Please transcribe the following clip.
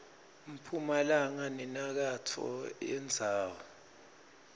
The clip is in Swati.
mphumalanga nenyakatfo yendzawo